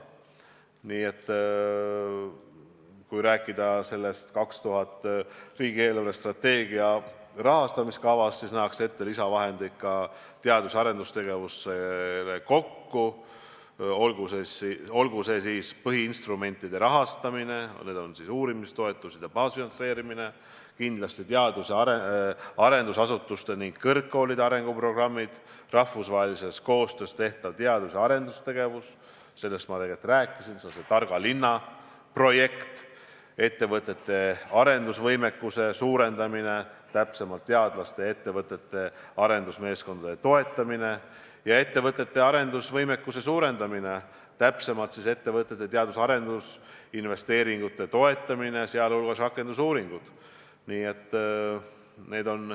Nii et kui rääkida 2000. aasta riigi eelarvestrateegia rahastamise kavast, siis selles nähakse ette lisavahendeid ka teadus- ja arendustegevusse – see on siis põhiinstrumentide rahastamine, uurimistoetused ja baasfinantseerimine, kindlasti teadus- ja arendusasutuste ning kõrgkoolide arenguprogrammid, rahvusvahelises koostöös tehtav teadus- ja arendustegevus – sellest ma tegelikult rääkisin, see on see targa linna projekt –, ettevõtete arenguvõimekuse suurendamine, täpsemalt teadlaste ja ettevõtete arendusmeeskondade toetamine ning ettevõtete teadus- ja arendusinvesteeringute toetamine, mis hõlmab ka rakendusuuringuid.